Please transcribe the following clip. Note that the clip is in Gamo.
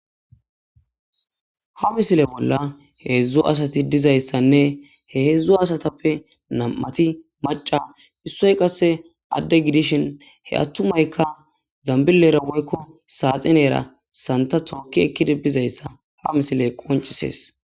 Ha misile bolla heedzdzo asati dizayssanne he heedzdzo asatappe nam'ati maca issoy qasse adde gidishin he attumaykka zambilera woykko saaxinera santa tooki ekkide bizayssa ha misile qoncisees